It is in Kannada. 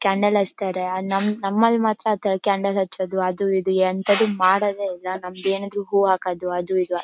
ಕ್ಯಾಂಡಲ್ ಹಚ್ತಾರೆ ನಮ್ಮಲ್ ಮಾತ್ರ ಕ್ಯಾಂಡಲ್ ಹಚ್ಹೋದು ಅದು ಇದು ಎಂಥದು ಮಾಡೋದೇ ಇಲ್ಲಾ ನಮ್ದ್ ಏನಿದ್ರೂ ಹೂ ಹಾಕೋದು ಅದು ಇದು --